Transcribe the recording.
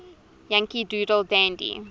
yankee doodle dandy